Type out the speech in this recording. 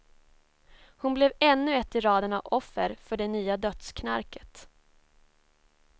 Hon blev ännu ett i raden av offer för det nya dödsknarket.